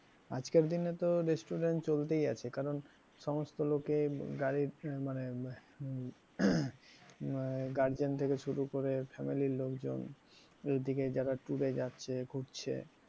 আজকের দিনে তো restaurant চলতেই আছে কারণ সমস্ত লোকে গাড়ি মানে আহ guardian থেকে শুরু করে family র লোকজন এইদিকে যারা tour এ যাচ্ছে ঘুরছে,